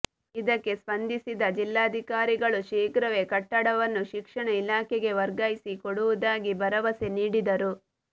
ಇದಕ್ಕೆ ಸ್ಪಂದಿಸಿದ ಜಿಲ್ಲಾಧಿಕಾರಿಗಳು ಶೀಘ್ರವೇ ಕಟ್ಟಡವನ್ನು ಶಿಕ್ಷಣ ಇಲಾಖೆಗೆ ವರ್ಗಾಯಿಸಿ ಕೊಡುವುದಾಗಿ ಭರವಸೆ ನೀಡಿದರು